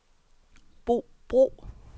Bo Bro